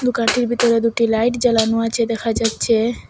দোকানটির ভিতরে দুটি লাইট জ্বালানো আছে দেখা যাচ্ছে।